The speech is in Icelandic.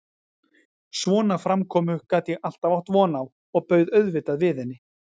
Svona framkomu gat ég alltaf átt von á og bauð auðvitað við henni.